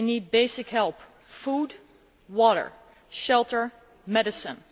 They need basic help food, water, shelter, medicine.